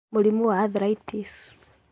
Mũrimũ wa arthritis;